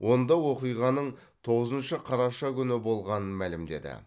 онда оқиғаның тоғызыншы қараша күні болғанын мәлімдеді